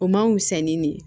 O man fisa ni ne ye